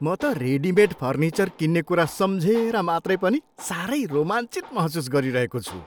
म त readymade furniture किन्ने कुरा सम्झेर मात्रै पनि साह्रै रोमाञ्चित महसुस गरिरहेको छु।